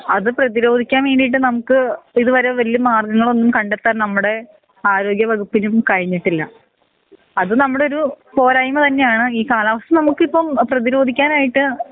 അത് പ്രേധിരോധിക്കാൻ വേണ്ടീട്ട് നമ്മുക്ക് ഇതുവരെ വല്യ മാർഗങ്ങളൊന്നും കണ്ടത്താൻ നമ്മടെ ആരോഗ്യ വകുപ്പിനും കഴിഞ്ഞിട്ടില്ല അത് നമ്മടൊരു പോരായിമ തന്നെയാണ് ഈ കാലാവസ്ഥ നമ്മുക്കിപ്പോ പ്രേധിരോധികനായിട്ട്